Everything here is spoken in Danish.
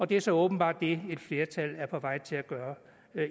det er så åbenbart det et flertal er på vej til at gøre